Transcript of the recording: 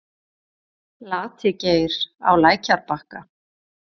Lati-Geir á lækjarbakka